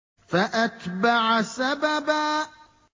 فَأَتْبَعَ سَبَبًا